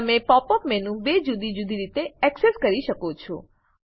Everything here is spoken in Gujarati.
તમે pop યુપી મેનુ બે જુદી જુદી રીતે એક્સેસ કરી શકો છો